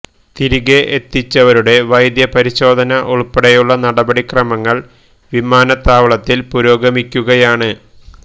തിരികെ എത്തിച്ചവരുടെ വൈദ്യ പരിശോധന ഉള്പ്പെടെയുള്ള നടപടിക്രമങ്ങള് വിമാനത്താവളത്തില് പുരോഗമിക്കുകയാണ്